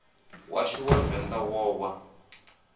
washu wa venḓa wo wa